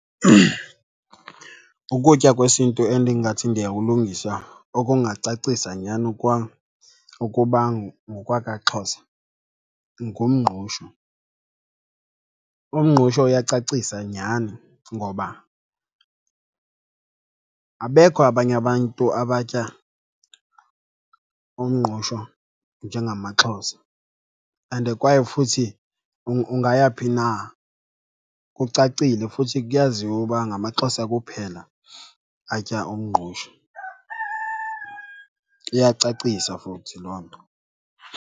Ukutya kwesiNtu endingathi ndiyakulungisa okungacacisa nyhani kwam ukuba ngokwakaXhosa ngumngqusho. Umngqusho uyacacisa nyhani ngoba abekho abanye abantu abatya umngqusho njengamaXhosa and kwaye futhi ungaya phi na kucacile futhi kuyaziwa uba ngamaXhosa kuphela atya umngqusho, iyacacisa futhi loo nto.